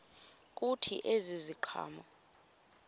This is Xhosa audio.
kuthi ezi ziqhamo